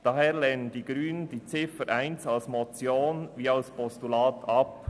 Daher lehnen die Grünen die Ziffer 1 sowohl als Motion als auch als Postulat ab.